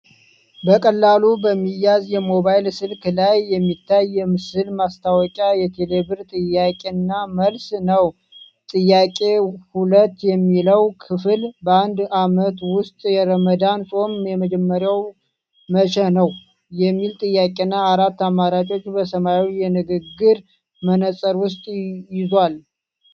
በቀላሉ በሚያዝ የሞባይል ስልክ ላይ የሚታየው የምስል ማስታወቂያ የቴሌብር ጥያቄና መልስ ነው። 'ጥያቄ ፪' የሚለው ክፍል 'በአንድ ዓመት ውስጥ የረመዳን ጾም የሚጀመረው መቼ ነው?' የሚል ጥያቄና አራት አማራጮችን በሰማያዊ የንግግር መነፅር ውስጥ ይዟል።